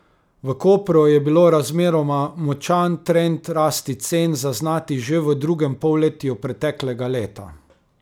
V Kopru je bilo razmeroma močan trend rasti cen zaznati že v drugem polletju preteklega leta.